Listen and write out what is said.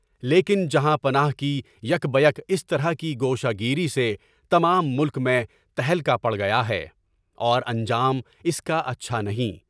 لیکن جہاں بنانے کی کوشش اس طرح کی گوشہ گیری سے تمام ملک میں تہلکہ پڑھ گیا ہے اور انجام اس کا اچھا نہیں۔